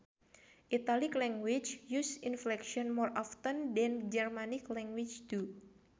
Italic languages use inflection more often than Germanic languages do